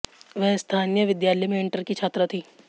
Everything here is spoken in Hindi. वह स्थानीय विद्यालय में इंटर की छात्रा थी